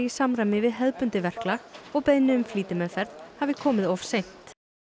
samræmi við hefðbundið verklag og beiðni um flýtimeðferð hafi komið of seint